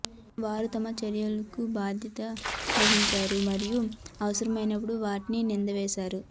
వారు తమ చర్యలకు బాధ్యత వహిస్తారు మరియు అవసరమైనప్పుడు వాటిని నింద వేస్తారు